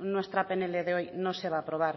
nuestra pnl de hoy no se va a aprobar